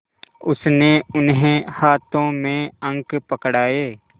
उसने उन्हें हाथों में अंक पकड़ाए